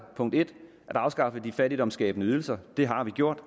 at afskaffe de fattigdomsskabende ydelser og det har vi gjort